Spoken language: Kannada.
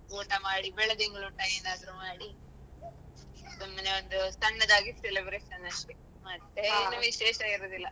ಊಟ ಮಾಡಿ ಬೆಳದಿಂಗಳೂಟ ಏನಾದ್ರು ಮಾಡಿ ಸುಮ್ಮನೆ ಒಂದು ಸಣ್ಣದಾಗಿ celebration ಅಷ್ಟೇ ಮತ್ತೇ ವಿಶೇಷ ಇರುದಿಲ್ಲ.